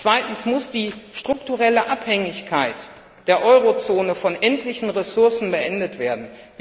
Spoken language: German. Zweitens muss die strukturelle Abhängigkeit der Eurozone von endlichen Ressourcen beendet werden.